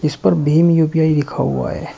इस पर भीम यू_पी_आई लिखा हुआ है।